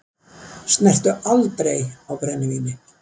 Snertu aldrei á brennivíni!